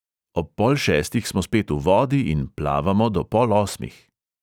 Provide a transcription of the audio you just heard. Ob pol šestih smo spet v vodi in plavamo do pol osmih.